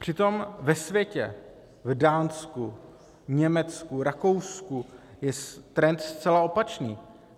Přitom ve světě, v Dánsku, Německu, Rakousku je trend zcela opačný.